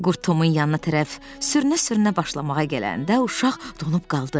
Qurd Tomun yanına tərəf sürünə-sürünə başlamağa gələndə uşaq donub qaldı.